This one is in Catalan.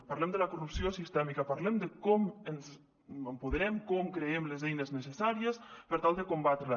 parlem de la corrupció sistèmica parlem de com ens apoderem com creem les eines necessàries per tal de combatrela